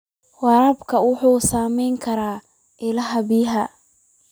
Waraabka wuxuu saameyn karaa ilaha biyaha.